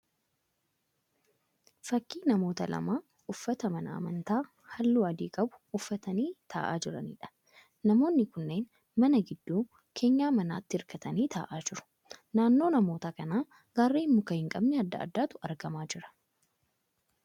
Fakkii namoota lama uffata mana amantaa halluu adii qabu uffatanii ta'aa jiraniidha. Namoonni kunneen mana gidduu keenyan manaatti hirkatanii ta'aa jiru. Naannoo namoota kanaatti garreen muka hin qabne adda addaatu argamaa jira.